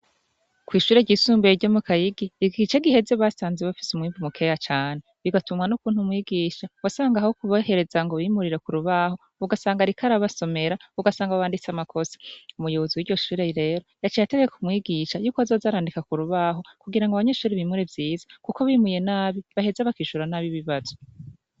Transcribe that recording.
Kw'ishuri ryisumbuye ryo mu kayigi igiki ice giheze basanze bafise umwimpi mukeya cane bigatumwa n'ukuntu mwigisha wasanga haho kubahereza ngo bimurira ku rubaho bugasanga rikarabasomera ugasanga banditse amakosa umuyubuzu w'iryo shure rero yaca yatege kumwigisha yuko wazoazarandika ku rubaho kugira ngo abanyeshuri bimure vyiza, kuko bimuye nabi baheza ishora n'aboibibazwe.